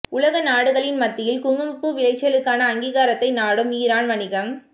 உலக நாடுகளின் மத்தியில் குங்குமப்பூ விளைச்சலுக்கான அங்கீகாரத்தை நாடும் ஈரான் வணிகம்